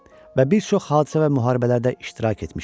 Və bir çox hadisə və müharibələrdə iştirak etmişəm.